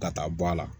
Ka taa bɔ a la